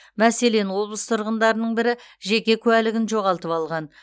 мәселен облыс тұрғындарының бірі жеке куәлігін жоғалтып алған